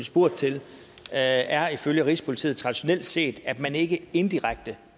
spurgt til er ifølge rigspolitiet traditionelt set at man ikke indirekte